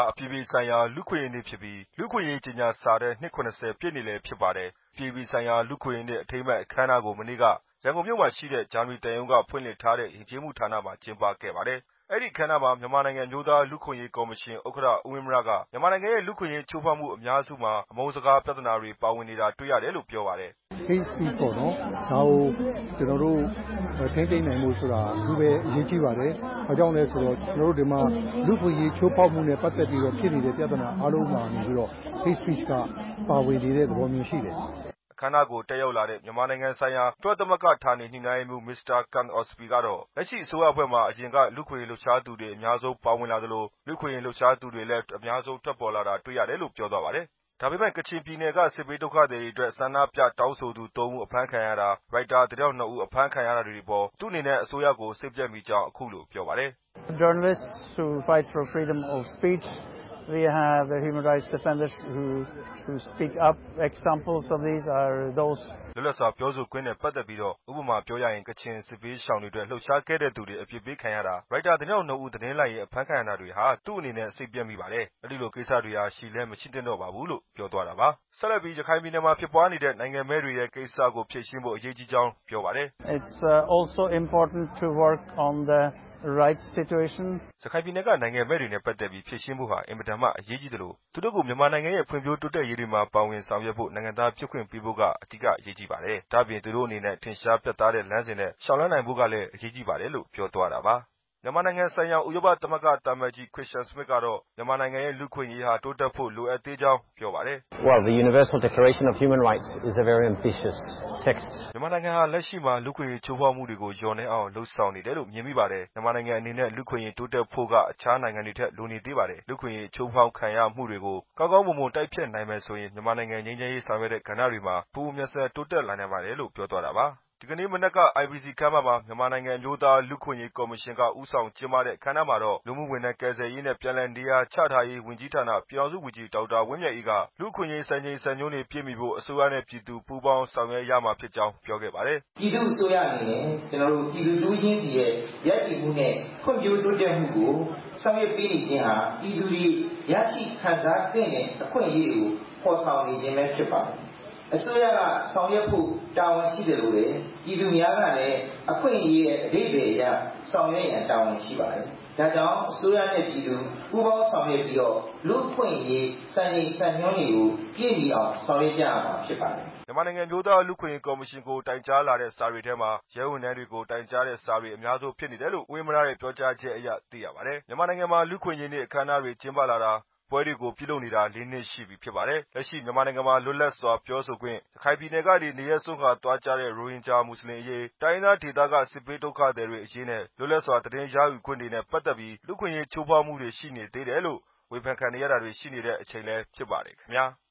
အပြည်ပြည်ဆိုင်ရာ လူ့အခွင့်အရေးနေ့ဖြစ်ပြီး လူ့အခွင့်အရေး ကြေညာစာတမ်း နှစ် ၇၀ ပြည့်နေ့လည်း ဖြစ်ပါတယ်။ အပြည်ပြည်ဆိုင်ရာ လူ့အခွင့်အရေးနေ့ အထိမ်းအမှတ် အခမ်းအနားကို မနေ့က ရန်ကုန်မြို့မှာရှိတဲ့ ဂျာမနီသံရုံးက ဖွင့်လှစ်ထားတဲ့ ယဉ်ကျေးမှုဌာနမှာ ကျင်းပခဲ့ပါတယ်။ အဲဒီအခမ်းအနားမှာ မြန်မာနိုင်ငံ အမျိုးသားလူ့အခွင့်အရေးကော်မရှင် ဥက္ကဋ္ဌ ဦးဝင်းမြက မြန်မာနိုင်ငံရဲ့ လူ့အခွင့်အရေးခ ျိုးဖောက်မှုအများစုမှာ အမုန်စကားပြဿနာတွေ ပါဝင်နေတာတွေ့ရတယ်လို့ ပြောပါတယ်။ "Hate Speech ကို ထိန်းသိမ်းနိုင်ဖို့ အထူးပဲ အရေးကြီးပါတယ်။ ဘာကြောင့်လဲဆိုတော့ လူ့အခွင့်အရေး ချိုးဖောက်မှုနဲ့ပတ်သက်ပြီး ဖြစ်နေတဲ့ ပြဿနာအားလုံးဟာ Hate Speech က ပါဝင်နေတဲ့ သဘောရှိတယ်" အခမ်းအနားကို တက်ရောက်လာတဲ့ မြန်မာနိုင်ငံဆိုင်ရာ ကုလသမဂ္ဂ ဌာနေညှိနှိုင်းရေးမှုး မစ္စတာ Kunt Ostby ကတော့ လက်ရှိအစိုးရအဖွဲ့မှာ အရင်က လူ့အခွင့်အရေးလှုပ်ရှားမှုတွေ အများဆုံး ပါဝင်လာသလို လူအခွင့်အရေး လှုပ်ရှားသူတွေလည်း ထွက်ပေါ်လာတာတွေ့ရတယ်လို့ ပြောပါတယ်။ ဒါပေမဲ့ ကချင်ပြည်နယ်က စစ်ဘေးဒုက္ခသည်တွေအတွက် ဆန္ဒပြတောင်းဆိုသူ ၃ ဦး အဖမ်းခံရတာ၊ ရိုက်တာ သတင်းထောက်၂ဦး အဖမ်းခံရတာတွေအပေါ် သူ့အနေနဲ့ အစိုးရကို စိတ်ပျက်မိကြောင်း အခုလိုပြောပါတယ်။ "လက်ရှိအစိုးရမှာဆိုရင် လူ့အခွင့်အရေးလှုပ်ရှားသူတွေ အများကြီးပါဝင်ခဲ့တယ်။ လူ့အခွင့်အရေးလှုပ်ရှားသူတွေလည်း ပေါ်ထွက်လာခဲ့တယ်။ လွတ်လပ်စွာ ပြောဆိုခွင့်နဲ့ ပတ်သက်ပြီးတော့ ဥပမာပြောရရင် ကချင်စစ်ဘေးရှောင်တွေအတွက် လှုပ်ရှားခဲ့တဲ့သူတွေ အပြစ်ပေးခံရတာ၊ ရိုက်တာ သတင်းထောက်၂ဦး သတင်းလိုက်ရင်း အဖမ်းခံရတာတွေဟာ သူ့အနေနဲ့စိတ်ပျက်မိပါတယ် အဲလိုကိစ္စတွေဟာ ရှိလည်း မရှိသင့်တော့ပါဘူး" ဆက်လက်ပြီး ရခိုင်ပြည်နယ်မှာဖြစ်ပွားနေတဲ့ နိုင်ငံမဲ့တွေရဲ့ ကိစ္စကိုဖြေရှင်းဖို့ အရေးကြီးကြောင်း ပြောပါတယ်။ "ရခိုင်ပြည်နယ် နိုင်ငံမဲ့တွေနဲ့ ပတ်သက်ပြီး ဖြေရှင်းဖို့အင်မတန်မှ အရေးကြီးသလို သူတို့ကို မြန်မာနိုင်ငံရဲ့ ဖွံ့ဖြိုးတိုးတက်ရေးတွေမှာ ပါဝင်ဆောင်ရွက်ဖို့ နိုင်ငံသားဖြစ်ခွင့်ပေးဖို့က အဓိက အရေးကြီးပါတယ်။ ဒါ့အပြင် သူတို့အနေနဲ့ ထင်ရှားပြတ်သားတဲ့ လမ်းစဉ်နဲ့ လျောက်လှမ်းနိုင်ဖို့ကလည်း အရေးကြီးပါတယ်" မြန်မာနိုင်ငံဆိုင်ရာ ဥရောပသမဂ္ဂ သံအမတ်ကြီး Kristian Schmidt ကလည်း မြန်မာနိုင်ငံရဲ့ လူ့အခွင့်အရေးဟာ တိုးတက်ဖို့ လိုအပ်သေးကြောင်း ပြောပါတယ်။ "မြန်မာနိုင်ငံဟာ လက်ရှိမှာ လူ့အခွင့်အရေးချိူးဖောက်မှုတွေကို လျော့နည်းအောင် လုပ်ဆောင်နေတယ်လို့ မြင်မိပါတယ်။ မြန်မာနိုင်ငံအနေနဲ့ လူ့အခွင့်ရေးတိုးတက်ဖို့က အခြားနိုင်ငံတွေထက် လိုနေသေးပါတယ်။ လူအခွင့်အရေး ချိုးဖောက်ခံရမှုတွေကို ကောင်းကောင်းမွန်မွန် တိုက်ဖျက်နိုင်မယ်ဆိုရင် မြန်မာနိုင်ငံ ငြိမ်းချမ်းရေး ဆောင်ရွက်တဲ့ကဏ္ဍတွေမှာ ပိုမိုမြန်ဆန် တိုးတက်လာနိုင်ပါတယ်" ဒီနေ့မနက်က IBC ခန်းမမှာ မြန်မာနိုင်ငံ အမျိုးသားလူ့အခွင့်အရေး ကော်မရှင်က ဦးဆောင်ကျင်းပတဲ့ အခမ်းအနားမှာတော့ လူမှုဝန်ထမ်း၊ ကယ်ဆယ်ရေးနဲ့ ပြန်လည်နေရာချထားရေး ဝန်ကြီးဌာန ပြည်ထောင်စု ဝန်ကြီး ဒေါက်တာ ဝင်းမြတ်အေးက လူ့အခွင့်အရေး စံချိန်စံညွန်းတွေ ပြည့်မီဖို့ အစိုးရနဲ့ ပြည်သူ ပူပေါင်းဆောင်ရွက်ရမှာဖြစ်ကြောင်း ပြောခဲ့ပါတယ်။ "ပြည်သူ့အစိုးရအနေနဲ့ ပြည်သူတစ်ဦးချင်းစီရဲ့ ရပ်တည်မှုနဲ့ ဖံ့ွဖြိုးတိုးတက်မှုကို ဆောင်ရွက်ပေးနေခြင်းဟာ ပြည်သူတွေ ရရှိခံစားသင့်တဲ့ အခွင့်အရေးကို ဖော်ဆောင်ပေးနေခြင်းပဲ ဖြစ်ပါတယ်။ အစိုးရက ဆောင်ရွက်ဖို့ တာဝန်ရှိသလိုပဲ ပြည်သူများကလည်း အခွင့်အရေးရဲ့ အဓိပ္ပာယ်က ဆောင်ရွက်ဖို့ တာဝန်ရှိပါတယ်။ ဒါကြောင့် အစိုးရနဲ့ ပြည်သူ ပူးပေါင်းဆောင်ရွက်ပြီး လူ့အခွင့်အရေး စံချိန်စံညွှန်းတွေကို ပြည့်မီအောင် ဆောင်ရွက်ရမှာဖြစ်ပါတယ်" မြန်မာနိုင်ငံ အမျိူးသားလူ့အခွင့်အရေး ကော်မရှင်ကို တိုင်ကြားလာတဲ့စာတွေထဲမှာ ရဲဝန်ထမ်းတွေကို တိုင်ကြားတဲ့စာတွေ အများဆုံးဖြစ်နေတယ်လို့ ဦးဝင်းမြရဲ့ ပြောကြားချက်အရ သိရပါတယ်။ မြန်မာနိုင်ငံမှာ လူ့အခွင့်အရေးနေ့ အခမ်းအနားတွေ ကျင်းပလာတာ ပွဲတွေကိုပြုလုပ်နေတာ ၄နှစ်ရှိပြီဖြစ်ပါတယ်။ လက်ရှိ မြန်မာနိုင်ငံမှာ လွတ်လပ်စွာပြောဆိုခွင့်၊ ရခိုင်ပြည်နယ်က နေရပ်စွန်ခွာသွားကြတဲ့ ရိုဟင်ဂျာ မွတ်စလင်အရေး၊ တိုင်းရင်းသားဒေသက စစ်ဘေးဒုက္ခသည်တွေအရေးနဲ့ လွတ်လပ်စွာ သတင်းရယူခွင့်တွေနဲ့ ပတ်သက်ပြီး လူ့အခွင့်အရေး ချိုးဖောက်မှုတွေ ရှိနေတယ်လို့ ဝေဖန်ခံနေရတာတွေ ရှိနေတဲ့အချိန် ဖြစ်ပါတယ်ခင်ဗျာ။